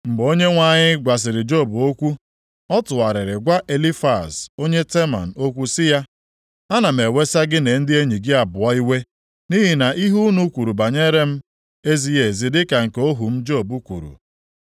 Mgbe Onyenwe anyị gwasịrị Job okwu, ọ tụgharịrị gwa Elifaz onye Teman okwu sị ya, “Ana m ewesa gị na ndị enyi gị abụọ iwe, nʼihi na ihe unu kwuru banyere m ezighị ezi dịka nke ohu m Job kwuru.